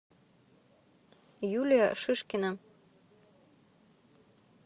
юлия шишкина